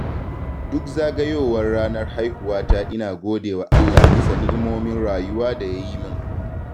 duk zagayowar ranar haihuwata ina godewa Allah bisa ni’imomin rayuwa da ya yi min.